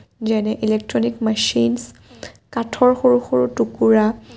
যেনে electronic machine চ কাঠৰ সৰু সৰু টুকুৰা।